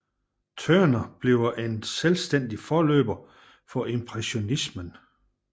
Turner bliver en selvstændig forløber for impressionismen